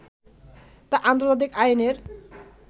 তা আন্তর্জাতিক আইনের